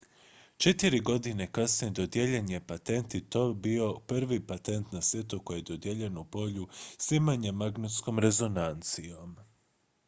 četiri godine kasnije dodijeljen je patent i to je bio prvi patent na svijetu koji je dodijeljen u polju snimanja magnetskom rezonancijom